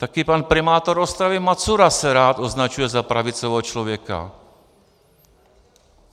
Také pan primátor Ostravy Macura se rád označuje za pravicového člověka.